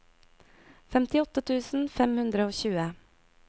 femtiåtte tusen fem hundre og tjue